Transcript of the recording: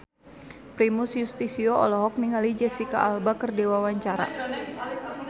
Primus Yustisio olohok ningali Jesicca Alba keur diwawancara